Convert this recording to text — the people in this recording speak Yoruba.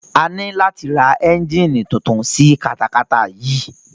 A ní láti ra ẹ́ngíìnì tuntun sí katakata yìí.